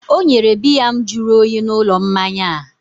o nyere biya m jụrụ oyi n'ụlọ mmanya a